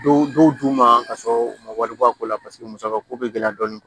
Dɔw d'u ma ka sɔrɔ u ma wari bɔ a ko la paseke musaka ko bɛ gɛlɛya dɔɔni